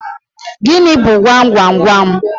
Gịnị bu gwam gwam gwam?